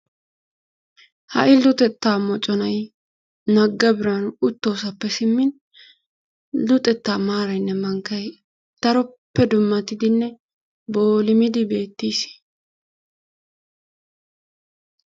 Ha'i luxetta moconay nagga biraanu uttoosappe simmin luxetta maaraynne mankkay daroppe dummatidinne boolimidi beettis.